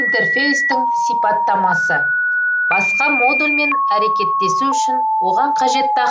интерфейстің сипаттамасы басқа модульмен әрекеттесу үшін оған қажетті